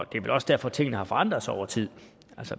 det er vel også derfor at tingene har forandret sig over tid